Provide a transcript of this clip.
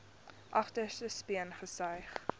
agterste speen gesuig